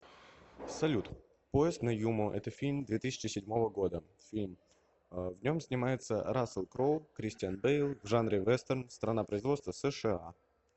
салют поезд на юму это фильм две тысячи седьмого года фильм в нем снимается рассел кроу кристиан бэйл в жанре вестерн страна производства сша